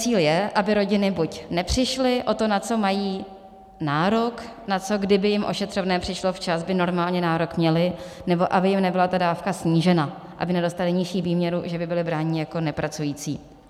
Cíl je, aby rodiny buď nepřišly o to, na co mají nárok, na co, kdyby jim ošetřovné přišlo včas, by normálně nárok měly, nebo aby jim nebyla ta dávka snížena, aby nedostaly nižší výměru, že by byly brány jako nepracující.